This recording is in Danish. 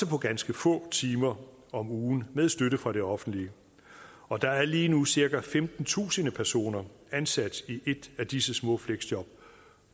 på ganske få timer om ugen med støtte fra det offentlige og der er lige nu cirka femtentusind personer ansat i et af disse små fleksjob